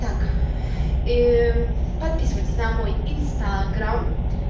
так и подписывайтесь на мой инстаграм